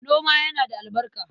Noma yana da albarka.